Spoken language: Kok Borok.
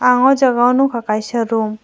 ow jaaga o nugkka kaisa room .